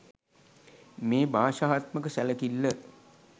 මේ භාෂාත්මක සැලකිල්ල